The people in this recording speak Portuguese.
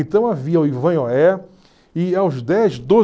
Então havia o e aos dez,